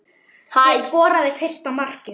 Hver skoraði fyrsta markið?